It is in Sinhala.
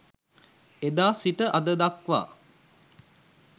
එදා සිට අද දක්වා